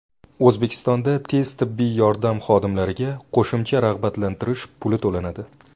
O‘zbekistonda tez tibbiy yordam xodimlariga qo‘shimcha rag‘batlantirish puli to‘lanadi.